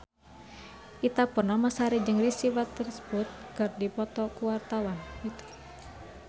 Ita Purnamasari jeung Reese Witherspoon keur dipoto ku wartawan